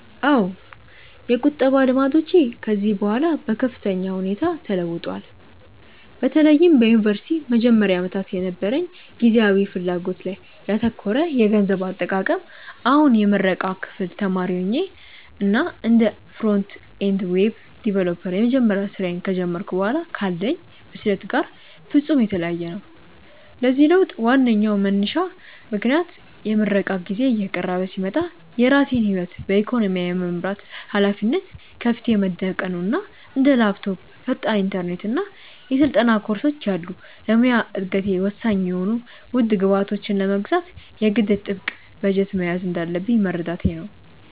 አዎ፣ የቁጠባ ልማዶቼ ከጊዜ በኋላ በከፍተኛ ሁኔታ ተለውጠዋል፤ በተለይም በዩኒቨርሲቲ መጀመሪያ ዓመታት የነበረኝ ጊዜያዊ ፍላጎት ላይ ያተኮረ የገንዘብ አጠቃቀም አሁን የምረቃ ክፍል ተማሪ ሆኜ እና እንደ ፍሮንት-ኤንድ ዌብ ዲቨሎፐር የመጀመሪያ ስራዬን ከጀመርኩ በኋላ ካለኝ ብስለት ጋር ፍጹም የተለያየ ነው። ለዚህ ለውጥ ዋነኛው መንሳሽ ምክንያት የምረቃ ጊዜዬ እየቀረበ ሲመጣ የራሴን ህይወት በኢኮኖሚ የመምራት ሃላፊነት ከፊቴ መደቀኑ እና እንደ ላፕቶፕ፣ ፈጣን ኢንተርኔት እና የስልጠና ኮርሶች ያሉ ለሙያዊ እደገቴ ወሳኝ የሆኑ ውድ ግብዓቶችን ለመግዛት የግድ ጥብቅ በጀት መያዝ እንዳለብኝ መረዳቴ ነው።